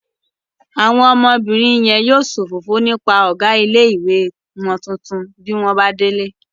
Àwọn ọmọbìnrin yẹn yóò sòfófó nípa ọ̀gá ilé-ìwé wọn tuntun bí wọ́n bá délé